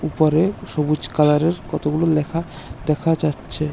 উপরে সবুজ কালারের কতগুলো লেখা দেখা যাচ্ছে।